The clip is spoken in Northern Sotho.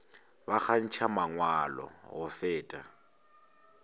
ba kgantšha mangwalo go feta